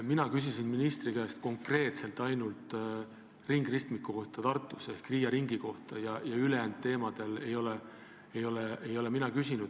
Mina küsisin ministri käest konkreetselt ainult Tartu ringristmiku ehk Riia ringi kohta, ülejäänud teemade kohta ei ole mina küsinud.